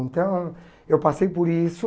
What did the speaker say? Então, eu passei por isso.